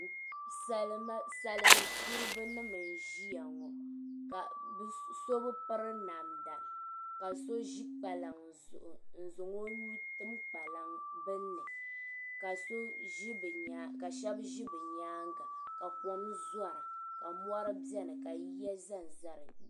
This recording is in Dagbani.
Salimzuriba n-ʒia ŋɔ ka bɛ so bi piri namda ka so ʒi kpalaŋa zuɣu n-zaŋ o nuu tim bini ni ka shɛba ʒi bɛ nyaaŋga ka kom zɔra ka mɔri beni ka yiya zanza di nyaaŋga.